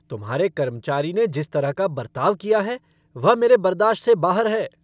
तुम्हारे कर्मचारी ने जिस तरह का बरताव किया है वह मेरे बर्दाश्त से बाहर है।